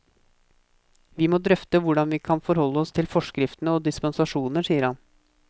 Vi må drøfte hvordan vi skal forholde oss til forskriftene og dispensasjoner, sier han.